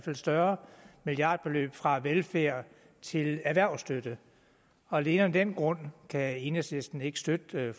et større milliardbeløb fra velfærd til erhvervsstøtte og alene af den grund kan enhedslisten ikke støtte